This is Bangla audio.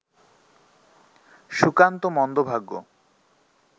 সুকান্ত মন্দভাগ্য